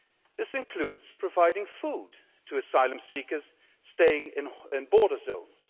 This includes providing food to asylum seekers staying in border zones.